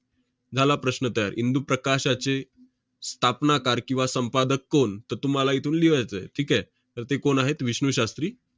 झाला प्रश्न तयार. 'इंदू प्रकाशाचे स्थापनाकार किंवा संपादक कोण? ' तर तुम्हाला इथून लिवायचं आहे. ठीक आहे? तर ते कोण आहेत? विष्णू शास्त्री